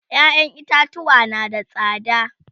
ƴaƴan itatuwa na da tsada